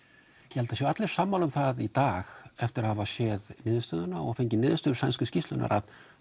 ég held að allir séu sammála um það í dag eftir að hafa séð niðurstöðuna og fengið niðurstöðu sænsku skýrslunnar að